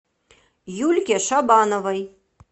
юльке шабановой